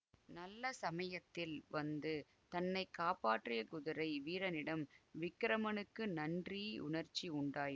நல்ல சமயத்தில் வந்து தன்னை காப்பாற்றிய குதிரை வீரனிடம் விக்கிரமனுக்கு நன்றி உணர்ச்சி உண்டாயி